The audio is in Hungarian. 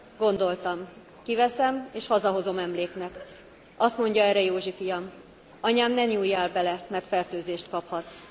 Gondoltam, kiveszem és hazahozom emléknek. Azt mondja erre Józsi fiam Anyám, ne nyúljál bele, mert fertőzést kaphatsz.